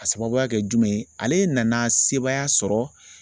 Ka sababuya kɛ jumɛn ale nana sebaaya sɔrɔ